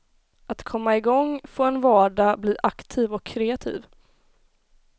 Att komma i gång, få en vardag, bli aktiv och kreativ.